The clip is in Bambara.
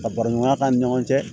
Ka baraɲɔgɔnya ni ɲɔgɔn cɛ